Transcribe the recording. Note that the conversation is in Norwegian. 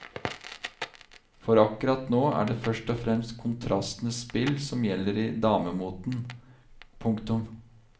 For akkurat nå er det først og fremst kontrastenes spill som gjelder i damemoten. punktum